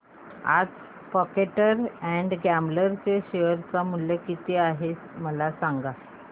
आज Procter and Gamble चे share मूल्य किती आहे मला सांगा